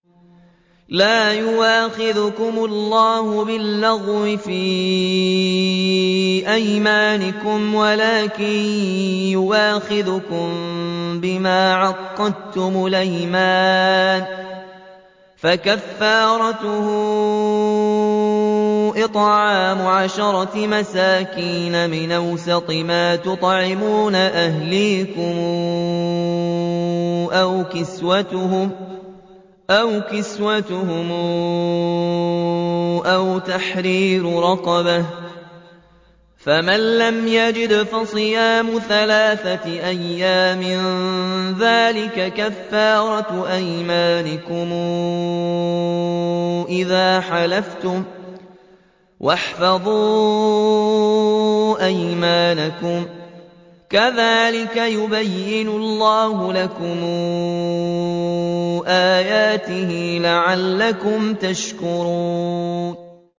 لَا يُؤَاخِذُكُمُ اللَّهُ بِاللَّغْوِ فِي أَيْمَانِكُمْ وَلَٰكِن يُؤَاخِذُكُم بِمَا عَقَّدتُّمُ الْأَيْمَانَ ۖ فَكَفَّارَتُهُ إِطْعَامُ عَشَرَةِ مَسَاكِينَ مِنْ أَوْسَطِ مَا تُطْعِمُونَ أَهْلِيكُمْ أَوْ كِسْوَتُهُمْ أَوْ تَحْرِيرُ رَقَبَةٍ ۖ فَمَن لَّمْ يَجِدْ فَصِيَامُ ثَلَاثَةِ أَيَّامٍ ۚ ذَٰلِكَ كَفَّارَةُ أَيْمَانِكُمْ إِذَا حَلَفْتُمْ ۚ وَاحْفَظُوا أَيْمَانَكُمْ ۚ كَذَٰلِكَ يُبَيِّنُ اللَّهُ لَكُمْ آيَاتِهِ لَعَلَّكُمْ تَشْكُرُونَ